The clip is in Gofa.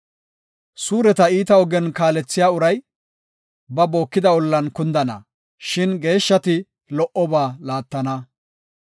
Suureta iita ogen kaalethiya uray ba bookida ollan kundana; shin geeshshati lo77oba laattana.